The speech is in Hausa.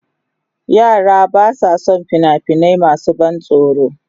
Yara ba sa son fina-finai masu ban tsoro.